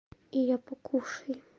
и я покушаю